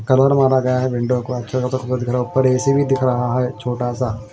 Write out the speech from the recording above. Colour मारा गया है विंडो को ऊपर ए_सी भी दिख रहा है छोटा सा।